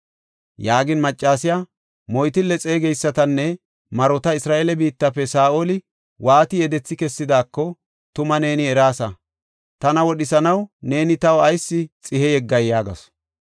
Yaagin maccasiya, “Moytille xeegeysatanne marota Isra7eele biittafe Saa7oli waati yedethi kessidaako, tuma neeni eraasa. Tana wodhisanaw neeni taw ayis xihe yeggay?” yaagasu.